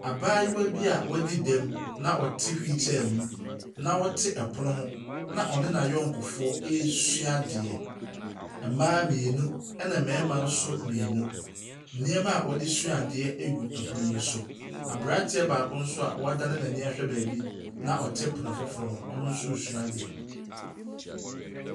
Abaayewa bi a wɛdi dɛm na ɔte wheel chair mu na ɔte ɛpono ho na ɔne na yɔnkofoɔ resua adeɛ. Mmaa mmienu ɛna mmarimma nso mmienu. Nneɛma ɔdesua adeɛ egu ɛpono yi so. Abranteɛ baako nso woadane n'ani de ahwɛ baabi na ɔte pono foforɔ hɔ, ɔno nso sua adeɛ ei.